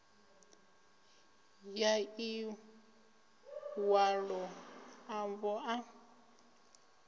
ya ḽi ṅwalo ḽavho ḽa